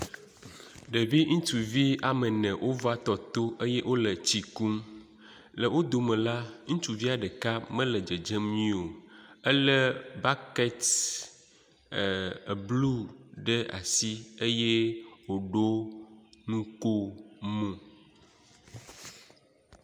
ɖevi ŋituvi woamene wova tɔtó eye wóle tsi kum le wó dome la ŋutsuvia ɖeka mele dzedzem nyuiwo éle bakɛt e blu ɖe asi eye wò ɖó nukomo